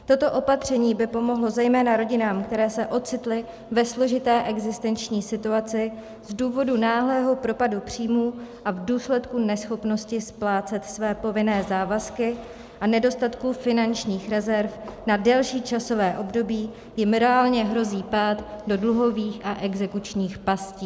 Toto opatření by pomohlo zejména rodinám, které se ocitly ve složité existenční situaci z důvodu náhlého propadu příjmů a v důsledku neschopnosti splácet své povinné závazky a nedostatku finančních rezerv na delší časové období jim reálně hrozí pád do dluhových a exekučních pastí.